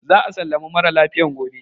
Za a sallami mara lafiyan gobe.